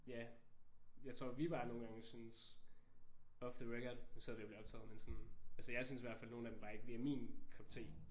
Ja jeg tror vi bare nogle gange synes off the record nu sidder vi og bliver optaget men sådan altså jeg synes i hvert fald at nogen af dem bare ikke lige er min kop te